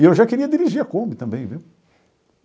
E eu já queria dirigir a Kombi também, viu?